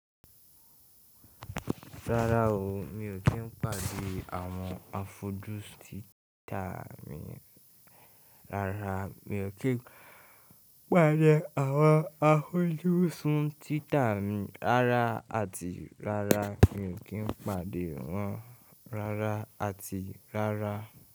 Rárá o, mi ò kí n pàdé àwọn afọjú sun Twitter mi rara àti rara. Mi ò kín pàdé wọn rara àti rara.